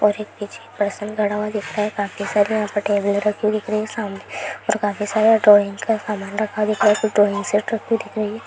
और एक पीछ पर्सन खड़ा हुआ दिख रहा है काफी सारी यहाँ पे टेबलें रखी हुई दिख रहीं हैं सामने और काफी सारा ड्राइंग का सामान रखा दिख रहा है ड्राइंग सेट रखी हुई दिख रही है।